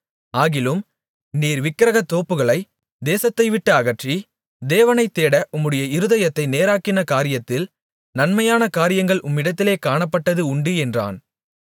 ஆகிலும் நீர் விக்கிரகத்தோப்புகளைத் தேசத்தைவிட்டு அகற்றி தேவனைத் தேட உம்முடைய இருதயத்தை நேராக்கின காரியத்தில் நன்மையான காரியங்கள் உம்மிடத்திலே காணப்பட்டது உண்டு என்றான்